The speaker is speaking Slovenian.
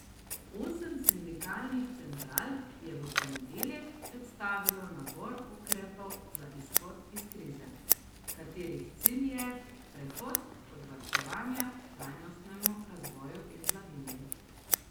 Osem sindikalnih central je v ponedeljek predstavilo nabor ukrepov za izhod iz krize, katerih cilj je prehod od varčevanja k trajnostnemu razvoju in blaginji.